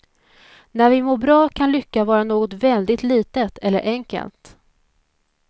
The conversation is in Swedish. När vi mår bra kan lycka vara något väldigt litet eller enkelt.